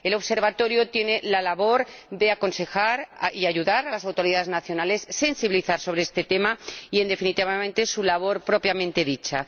El Observatorio tiene la labor de aconsejar y ayudar a las autoridades nacionales, sensibilizar sobre este tema y, en definitiva, sobre su labor propiamente dicha.